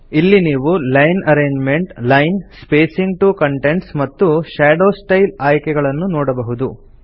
ಇಲ್ಲಿ ನೀವು line arrangement line spacing to contents ಮತ್ತು ಶಾಡೋ styleಆಯ್ಕೆಗಳನ್ನು ನೋಡಬಹುದು